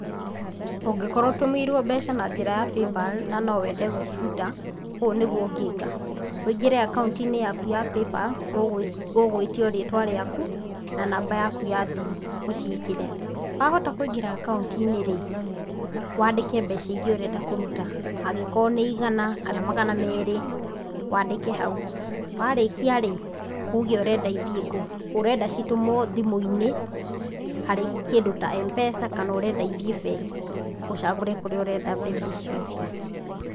Ũngĩkorwo ũtũmĩirwo mbeca na njĩra ya paypal na no wende gũciruta, ũũ nĩguo ũngĩka; ũingĩre akaunti-inĩ yaku ya paypal ũgũĩtio rĩtwa rĩaku na namba yaku ya thiri ũciĩkĩre, wahota kũingĩra akaunti-inĩ rĩ, waandĩke mbeca iria ũrenda kũruta. Angĩkorwo nĩ igana kana magana merĩ waandĩke hau, warĩkia rĩ, uuge ũrenda ithiĩ kũ, ũrenda citũmwo thimũ-inĩ harĩ kĩndũ ta Mpesa kana ũrenda ĩthiĩ bengi? Ũcagũre kũrĩa ũrenda mbeca icio ithiĩ.